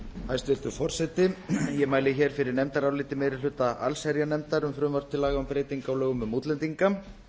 hæstvirtur forseti ég mæli hér fyrir nefndaráliti meiri hluta allsherjarnefndar um frumvarp til laga um breytingu á lögum um útlendinga